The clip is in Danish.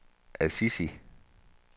Assisi